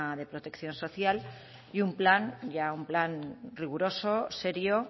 de protección social y un plan ya un plan riguroso serio